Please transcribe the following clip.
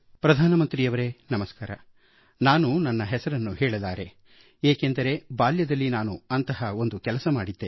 ಪ್ರಧಾನಮಂತ್ರಿಯವರೇ ನಮಸ್ಕಾರ ನಾನು ನನ್ನ ಹೆಸರು ಹೇಳಲಾರೆ ಏಕೆಂದರೆ ಬಾಲ್ಯದಲ್ಲಿ ನಾನು ಅಂಥ ಒಂದು ಕೆಲಸ ಮಾಡಿದ್ದೆ